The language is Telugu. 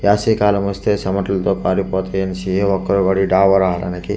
యాసవి కాలం వస్తె సెమటలతో పాడైపోతాయన్నేసి --